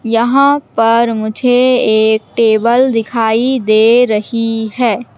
यहां पर मुझे एक टेबल दिखाई दे रही है।